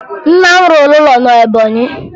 Nna m rụrụ ụlọ na Ebọnyị